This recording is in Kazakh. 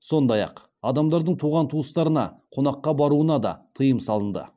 сондай ақ адамдардың туған туыстарына қонаққа баруына да тыйым салынды